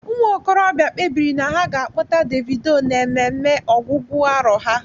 Ụmụ okorobịa kpebiri na ha ga akpọta Davido na ememe ọgwụgwụ arọ há.